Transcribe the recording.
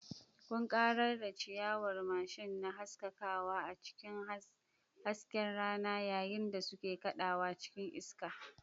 Ƙunƙarar ciyawar mashin na haskakawa a cikin hasken rana yayin da suke kaɗawa cikin iska.